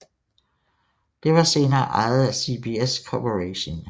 Det var senere ejet af CBS Corporation